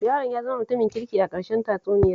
Yaron ya zama mutumin kirki a ƙarshen tatsuniyar